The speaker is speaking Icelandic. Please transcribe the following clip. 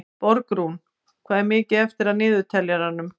Borgrún, hvað er mikið eftir af niðurteljaranum?